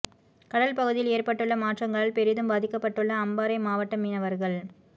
கடல் பகுதியில் ஏற்பட்டுள்ள மாற்றங்களால் பெரிதும் பாதிக்கப்பட்டுள்ள அம்பாறை மாவட்ட மீனவர்கள்